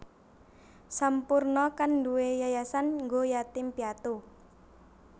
Sampoerna kan nduwe yayasan nggo yatim piatu